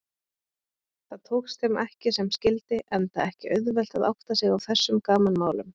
Það tókst þeim ekki sem skyldi enda ekki auðvelt að átta sig á þessum gamanmálum.